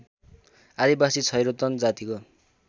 आदिवासी छैरोतन जातिको